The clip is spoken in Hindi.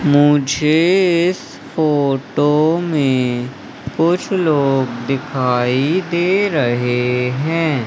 मुझे इस फोटो में कुछ लोग दिखाई दे रहे हैं।